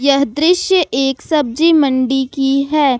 यह दृश्य एक सब्जी मण्डी की है।